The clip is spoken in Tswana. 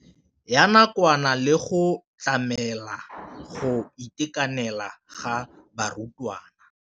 Ya nakwana le go tlamela go itekanela ga barutwana.